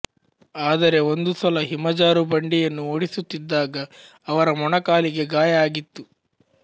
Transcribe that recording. ಆದರೆ ಒಂದು ಸಲ ಹಿಮಜಾರುಬಂಡಿಯನ್ನು ಓಡಿಸುತ್ತಿದ್ದಾಗ ಅವರ ಮೊಣಕಾಲಿಗೆ ಗಾಯ ಆಗಿತ್ತು